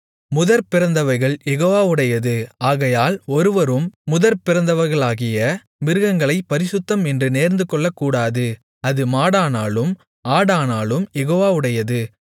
முதற்பிறந்தவைகள் யெகோவாவுடையது ஆகையால் ஒருவரும் முதற்பிறந்தவைகளாகிய மிருகங்களைப் பரிசுத்தம் என்று நேர்ந்துகொள்ளக்கூடாது அது மாடானாலும் ஆடானாலும் யெகோவாவுடையது